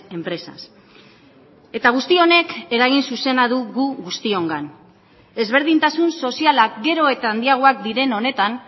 empresas eta guzti honek eragin zuzena du gu guztiongan ezberdintasun sozialak gero eta handiagoak diren honetan